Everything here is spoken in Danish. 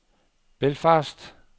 Belfast